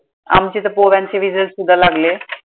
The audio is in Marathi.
आमचे तर पोरांचे result सुद्धा लागले.